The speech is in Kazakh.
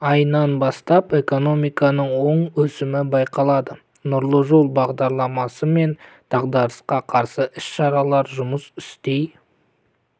айынан бастап экономиканың оң өсімі байқалады нұрлы жол бағдарламасы мен дағдарысқа қарсы іс-шаралар жұмыс істей